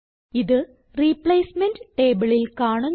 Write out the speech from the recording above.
ഇത് റിപ്ലേസ്മെന്റ് ടേബിളിൽ കാണുന്നു